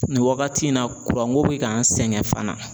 Nin wagati in na ko bɛ k'an sɛgɛn fana.